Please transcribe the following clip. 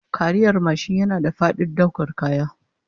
Kariyar mashin yana da fadin daukar kaya